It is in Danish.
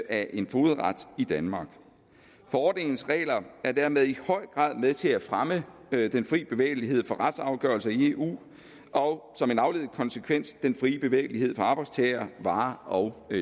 af en fogedret i danmark forordningens regler er dermed i høj grad med til at fremme den fri bevægelighed for retsafgørelser i eu og som en afledet konsekvens den frie bevægelighed for arbejdstagere varer og